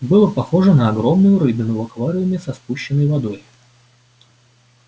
было похоже на огромную рыбину в аквариуме со спущенной водой